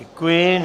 Děkuji.